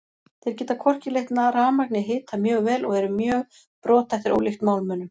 Þeir geta hvorki leitt rafmagn né hita mjög vel og eru mjög brothættir ólíkt málmunum.